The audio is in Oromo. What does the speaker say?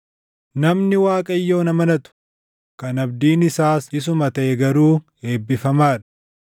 “Namni Waaqayyoon amanatu, kan abdiin isaas isuma taʼe garuu eebbifamaa dha.